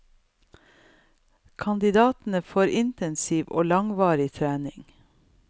Kandidatene får intensiv og langvarig trening.